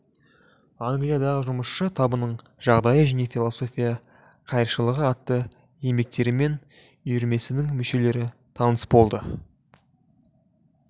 англиядағы жұмысшы табының жағдайы және философия қайыршылығы атты еңбектерімен үйірмесінің мүшелері таныс болды